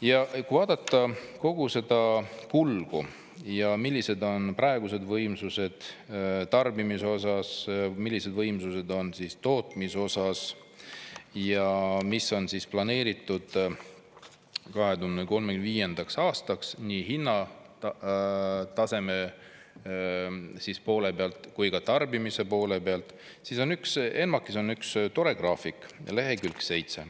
Ja kui vaadata kogu seda kulgu ja millised on praegused võimsused tarbimise osas, millised võimsused on tootmise osas ja mis on planeeritud 2035. aastaks nii hinnataseme poole pealt kui ka tarbimise poole pealt, siis ENMAK-is on üks tore graafik, lehekülg 7,